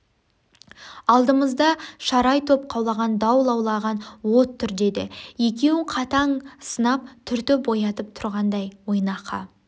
алдымызда шарай топ қаулаған дау лаулаған от тұр деді екеуін қатаң сынап түртіп оятып тұрғандай ойнақы